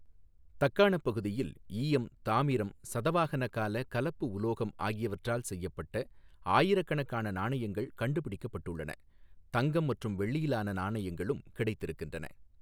தக்காணப் பகுதியில் ஈயம், தாமிரம், சதவாஹன கால கலப்பு உலோகம் ஆகியவற்றால் செய்யப்பட்ட ஆயிரக்கணக்கான நாணயங்கள் கண்டுபிடிக்கப்பட்டுள்ளன, தங்கம் மற்றும் வெள்ளியிலான நாணயங்களும் கிடைத்திருக்கின்றன.